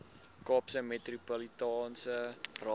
kaapse metropolitaanse raad